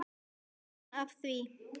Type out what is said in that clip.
Gaman af því.